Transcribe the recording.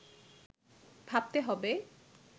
ভাবতে হবে